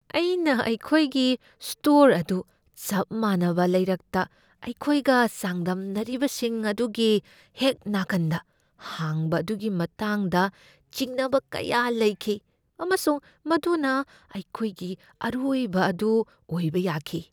ꯑꯩꯅ ꯑꯩꯈꯣꯢꯒꯤ ꯁ꯭ꯇꯣꯔ ꯑꯗꯨ ꯆꯞ ꯃꯥꯟꯅꯕ ꯂꯩꯔꯛꯇ ꯑꯩꯈꯣꯏꯒ ꯆꯥꯡꯗꯝꯅꯔꯤꯕꯁꯤꯡ ꯑꯗꯨꯒꯤ ꯍꯦꯛ ꯅꯥꯀꯟꯗ ꯍꯥꯡꯕ ꯑꯗꯨꯒꯤ ꯃꯇꯥꯡꯗ ꯆꯤꯡꯅꯕ ꯀꯌꯥ ꯂꯩꯈꯤ ꯑꯃꯁꯨꯡ ꯃꯗꯨꯅ ꯑꯩꯈꯣꯢꯒꯤ ꯑꯔꯣꯢꯕ ꯑꯗꯨ ꯑꯣꯏꯕ ꯌꯥꯈꯤ꯫